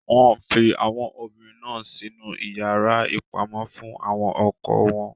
Wọn fi àwọn obìnrin náà sinu iyàrá ìpamọ fún àwọn ọkọ wọn.